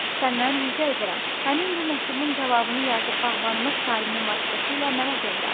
Səndən rica edirəm, həmin bu məktubun cavabını yazıb bağbanıma Salimin vasitəsilə mənə göndər.